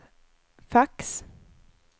fax